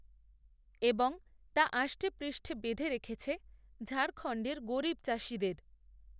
এবং তা আষ্টেপৃষ্ঠে বেঁধে রেখেছে ঝাড়খণ্ডের গরিব চাষিদের